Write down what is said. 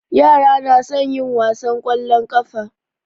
Yara na son yin wasan ƙwallon ƙafa.